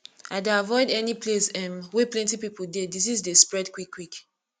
i dey avoid any place um wey plenty pipo dey disease dey spread quickquick